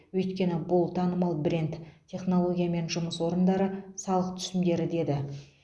өйткені бұл танымал бренд технология мен жұмыс орындары салық түсімдері деді